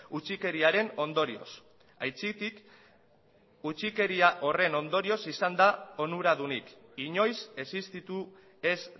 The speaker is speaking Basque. utzikeriaren ondorioz aitzitik gutxikeria horren ondorioz izan da onuradunik inoiz existitu ez